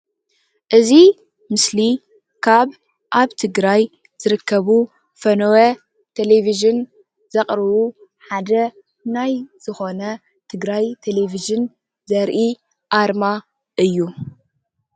እዚ ምስሊ ካብ ኣብ ትግራይ ዝርከቡ ፈነወ ቴሌቪዥን ዘቕርቡ ሓደ ናይ ዝኾነ ትግራይ ቴሌቪዥን ዘርኢ ኣርማ እዩ።